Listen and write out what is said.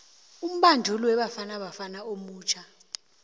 umbanduli webafana bafana omutjha